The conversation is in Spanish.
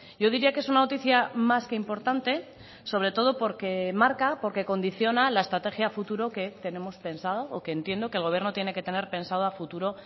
yo diría que es una noticia más que importante sobre todo porque marca porque condiciona la estrategia a futuro que tenemos pensado o que entiendo que el gobierno tiene que tener pensado a futuro